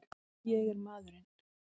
Ég er maðurinn!